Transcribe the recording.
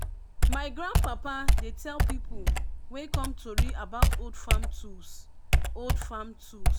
my grandpapa dey tell people wey come tori about old farm tools. old farm tools.